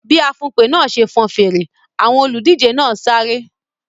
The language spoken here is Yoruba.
Bí afùnpè náà ṣe fọn fèrè, àwọn olùdíje náà sáré.